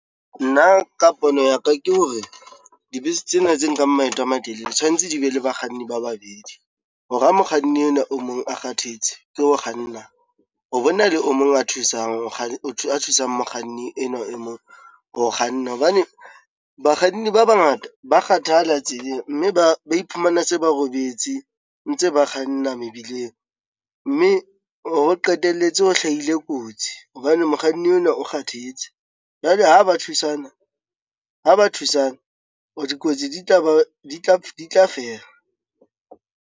Nna ka pono ya ka, ke hore dibese tsena tse nkang maeto a matelele tshwanetse di be le bakganni ba babedi, hore ha mokganni enwa o mong a kgathetse ke ho kganna ho bona le o mong a thusang mokganni enwa e mong ho kganna. Hobane bakganni ba bangata ba kgathala tseleng, mme ba iphumana se ba robetse ntse ba kganna mebileng, mme ho qetelletse ho hlahile kotsi hobane mokganni enwa o kgathetse jwale ha ba thusana dikotsi di tla fela.